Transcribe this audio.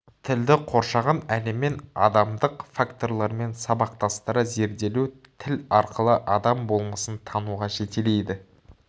тілді қоршаған әлеммен адамдық факторлармен сабақтастыра зерделеу тіл арқылы адам болмысын тануға жетелейді